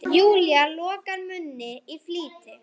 Júlía lokar munni í flýti.